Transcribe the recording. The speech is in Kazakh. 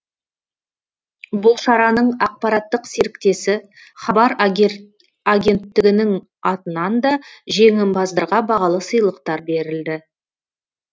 бұл шараның ақпараттық серіктесі хабар агенттігінің атынан да жеңімпаздарға бағалы сыйлықтар берілді